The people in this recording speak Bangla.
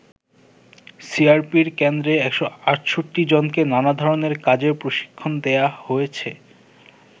সিআরপির কেন্দ্রে ১৬৮ জনকে নানা ধরনের কাজের প্রশিক্ষণ দেয়া হয়েছে।